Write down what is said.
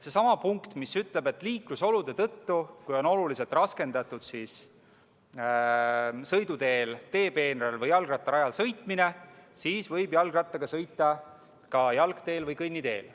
Seesama punkt, mis ütleb, et kui liiklusolude tõttu on oluliselt raskendatud sõiduteel, teepeenral või jalgrattarajal sõitmine, siis võib jalgrattaga sõita ka jalgteel või kõnniteel.